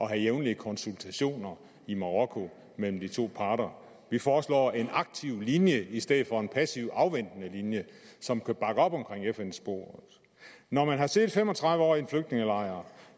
have jævnlige konsultationer i marokko mellem de to parter vi foreslår en aktiv linje i stedet for en passiv afventende linje som kan bakke op omkring fn sporet når man har siddet fem og tredive år i en flygtningelejr